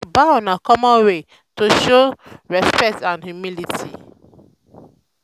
to dey bow na common way to greet wey show respect and humility.